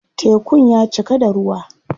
Tekun ya cika da ruwa.